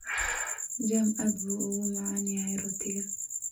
Jam aad buu ugu macaan yahay rootiga.